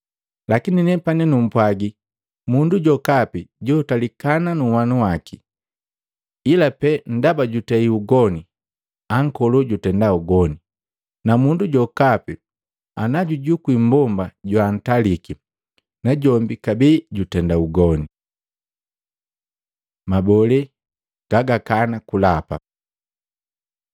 Lakini nepani numpwagi, mundu jokapi joantalika nhwanu waki, ila pee ndaba jutei ugoni, ankolo jutenda ugoni, na mundu jokapi anajujukwi mmbomba joantaliki, najombi kabee jutenda ugoni.” Mabole gagakana kulapa